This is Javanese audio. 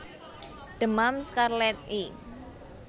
Demam skarlet i